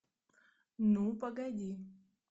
ну погоди